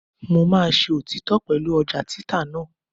Mo máa ṣe òtítọ́ pẹ̀lú ọjà títà náà.